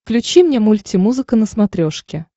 включи мне мульти музыка на смотрешке